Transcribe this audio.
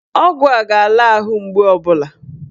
Ọgwụ a ga-ala ahụ mgbu ọbụla